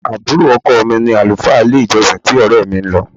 Àbúrò ọkọ̀ mi ni àlùfáà ilé-ìjọsìn tí ọrẹ mi ń lọ.